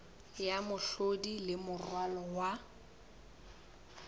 ya mehlodi le moralo wa